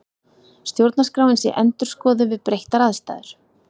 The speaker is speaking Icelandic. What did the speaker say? Stjórnarskráin sé endurskoðuð við breyttar aðstæður